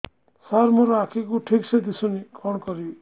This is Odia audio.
ସାର ମୋର ଆଖି କୁ ଠିକସେ ଦିଶୁନି କଣ କରିବି